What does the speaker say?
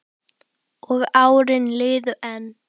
Og árin liðu enn.